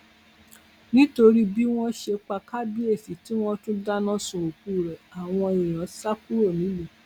nítorí bí wọn ṣe pa kábíyèsí tí wọn tún dáná sun òkú ẹ àwọn èèyàn sá kúrò nílùú